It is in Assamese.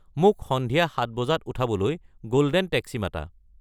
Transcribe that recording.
মোক সন্ধিয়া সাত বজাত উঠাবলৈ গোল্ডেন টেক্সি মাতা